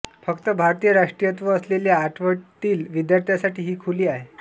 फक्त भारतीय राष्ट्रीयत्व असलेल्या आठवीतील विद्यार्थ्यांसाठी ही खुली आहे